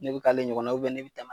Ne be k'ale ɲɔgɔnna u bɛ ne be tɛm'a